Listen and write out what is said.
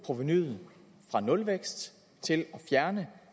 provenuet fra nulvækst til at fjerne